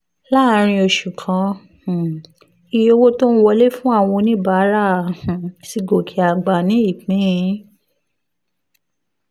láàárín oṣù kan um iye owó tó ń wọlé fún àwọn oníbàárà um ti gòkè àgbà ní ìpín